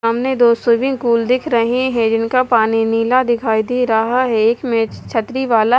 सामने दो swimming pool दिख रहे हैं जिनका पानी नीला दिखाई दे रहा है एक मेज छतरी वाला--